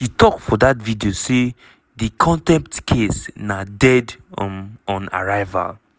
she tok for dat video say "di contempt case na dead um on arrival.